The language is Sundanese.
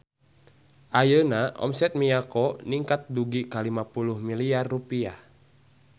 Ayeuna omset Miyako ningkat dugi ka 50 miliar rupiah